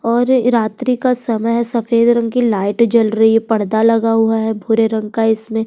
और रात्रि का समय है सफेद रंग की लाइट जल रही है पर्दा लगा हुआ है भूरे रंग का इसमें।